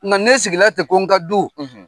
Nka ne sigira ten ko n ka du